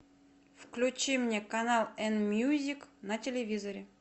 включи мне канал эн мьюзик на телевизоре